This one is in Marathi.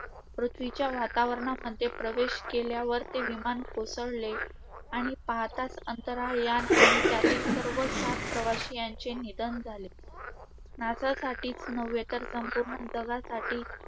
पृथ्वीच्या वातावरणामध्ये प्रवेश केल्यावर ते विमान कोसळले. आणि पाहताच अंतराळ यान आणि त्यातील सर्व सात प्रवासी यांचे निधन झाले. NASA साठीच नव्हे तर संपूर्ण जगासाठी